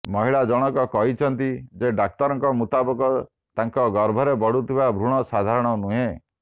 ମହିଳା ଜଣକ କହିଛନ୍ତି ଯେ ଡାକ୍ତରଙ୍କ ମୁତାବକ ତାଙ୍କ ଗର୍ଭରେ ବଢୁଥିବା ଭ୍ରୁଣ ସାଧାରଣ ନୁହେଁ